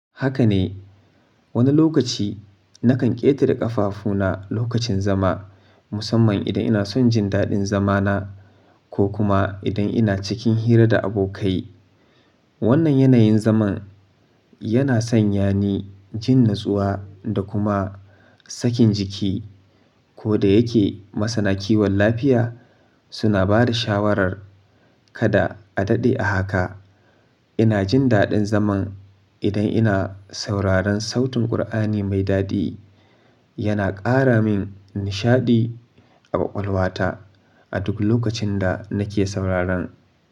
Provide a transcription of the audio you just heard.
Haka ne, wani lokaci nakan ƙetare ƙafafuna lokacin zama, musamman idan ina son jin daɗin zamana ko kuma idan ina cikin hira da abokai. Wannan yanayin zaman yana sanya ni jin natsuwa da kuma sakin jiki ko da yake masana kiwon lafiya suna ba da shawarar kada a daɗe a haka. Ina jin daɗin zaman idan ina sauraron sautin ƙur'ani mai daɗi. Yana ƙara min nishaɗi a ƙwaƙwalwata a duk lokacin da nake sauraron.